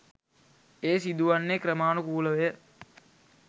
එය සිදුවන්නේ ක්‍රමානුකූලවය.